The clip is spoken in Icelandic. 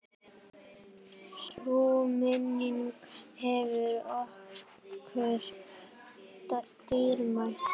Sú minning er okkur dýrmæt.